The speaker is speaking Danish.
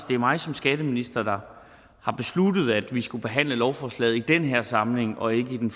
det er mig som skatteminister der har besluttet at vi skulle behandle lovforslaget i den her samling og ikke i den